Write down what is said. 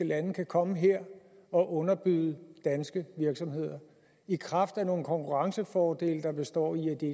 lande kan komme her og underbyde danske virksomheder i kraft af nogle konkurrencefordele der består i at de